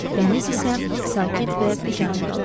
Dəniz isə sakit və biganə qalardı.